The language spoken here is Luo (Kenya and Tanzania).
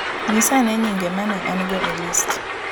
Nyisa ane nyinge ma ne an go e list